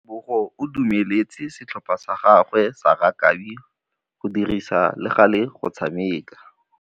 Tebogô o dumeletse setlhopha sa gagwe sa rakabi go dirisa le galê go tshameka.